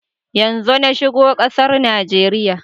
Yanzo na shigo kasar Najeriya.